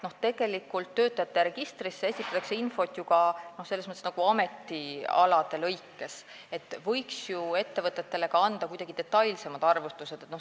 Tegelikult esitatakse töötamise registrisse infot nagu ametialade kaupa, ettevõtetele võiks ju anda ka kuidagi detailsemad arvutused.